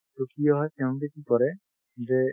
to কি হয় তেওঁলোকে কি কৰে যে